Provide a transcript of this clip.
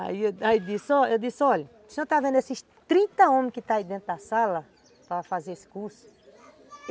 Aí eu disse, olha, o senhor está vendo esses trinta homens que estão aí dentro da sala para fazer esse curso?